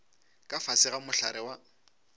ka fase ga mohlare wa